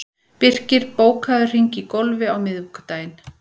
Birkir, bókaðu hring í golf á miðvikudaginn.